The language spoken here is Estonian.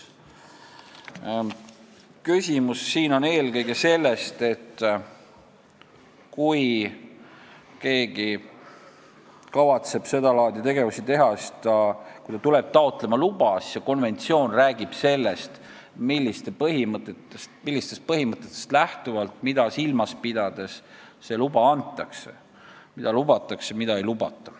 Küsimus on eelkõige selles, et kui keegi kavatseb sedalaadi tegevusi teha ja tuleb taotlema luba, siis see konventsioon ütleb, millistest põhimõtetest lähtuvalt ja mida silmas pidades see luba antakse, st mida lubatakse ja mida ei lubata.